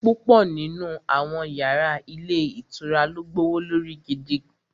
Púpọ̀ nínú àwọn yàrá ilé ìtura ló gbówó lórí gidi